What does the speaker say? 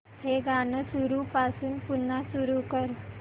हे गाणं सुरूपासून पुन्हा सुरू कर